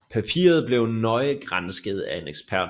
Papiret blev nøje gransket af en ekspert